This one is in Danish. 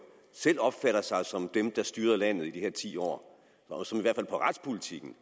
selv opfatter sig som dem der styrede landet i de ti år og som i hvert fald på retspolitikkens